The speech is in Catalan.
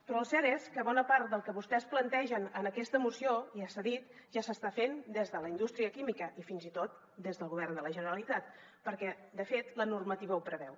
però el cert és que bona part del que vostès plantegen en aquesta moció ja s’ha dit ja s’està fent des de la indústria química i fins i tot des del govern de la generalitat perquè de fet la normativa ho preveu